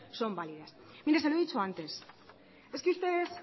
son válidas mire se lo he dicho antes es que ustedes